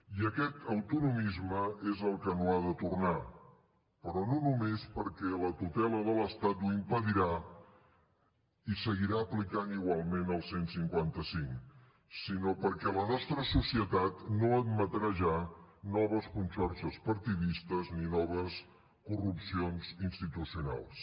i aquest autonomisme és el que no ha de tornar però no només perquè la tutela de l’estat ho impedirà i seguirà aplicant igualment el cent i cinquanta cinc sinó perquè la nostra societat no admetrà ja noves conxorxes partidistes ni noves corrupcions institucionals